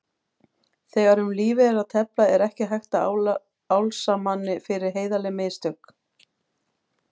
Þegar um lífið er að tefla er ekki hægt að álasa manni fyrir heiðarleg mistök.